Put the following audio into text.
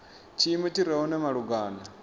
tshiimo tshi re hone malugana